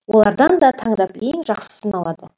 олардан да таңдап ең жақсысын алады